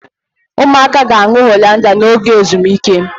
Ụmụaka ga-aṅụ Hollandia n'oge ezumike